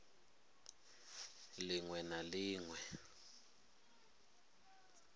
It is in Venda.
ḽ iṅwe na ḽ iṅwe